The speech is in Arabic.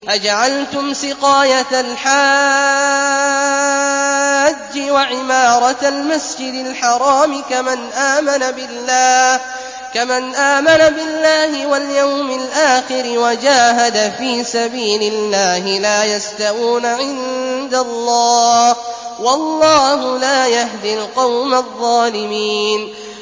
۞ أَجَعَلْتُمْ سِقَايَةَ الْحَاجِّ وَعِمَارَةَ الْمَسْجِدِ الْحَرَامِ كَمَنْ آمَنَ بِاللَّهِ وَالْيَوْمِ الْآخِرِ وَجَاهَدَ فِي سَبِيلِ اللَّهِ ۚ لَا يَسْتَوُونَ عِندَ اللَّهِ ۗ وَاللَّهُ لَا يَهْدِي الْقَوْمَ الظَّالِمِينَ